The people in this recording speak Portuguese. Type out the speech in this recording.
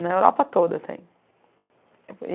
Na Europa toda tem. E